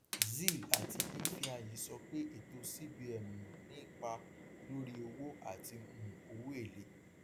zeal àti ifeanyi sọ pé ètò cbn um ní ipa lórí owó àti um owóèlé